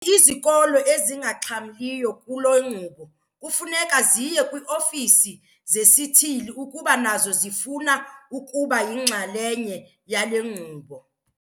Izikolo ezingaxhamliyo kule nkqubo kufuneka ziye kwii-ofisi zesithili ukuba nazo zifuna ukuba yinxalenye yale nkqubo.